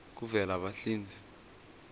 kuvelabahlinze